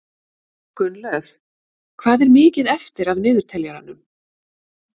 Gunnlöð, hvað er mikið eftir af niðurteljaranum?